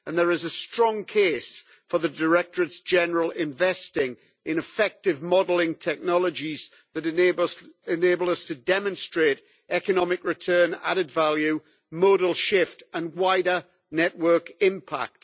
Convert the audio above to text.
There is a strong case for the directorates general investing in effective modelling technologies that enable us to demonstrate economic return, added value, modal shift and wider network impact.